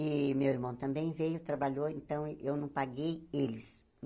E meu irmão também veio, trabalhou, então eu não paguei eles.